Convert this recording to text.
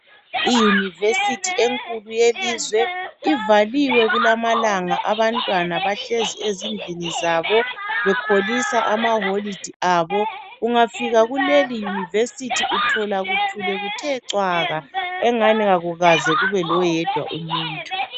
i university enkulu yelizwe ivaliwe kulawa amalanga abantwana bahleli ezindlini zabo bekholisa amakhefu abo ungafika kuleli university uthola kuthule kuthe cwaka engani akukaze kube loyedwa umuntu